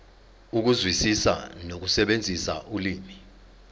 ukuzwisisa nokusebenzisa ulimi